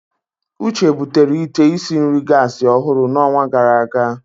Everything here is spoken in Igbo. Uche butere ite isi nri gasi ọhụrụ n'ọnwa gara aga.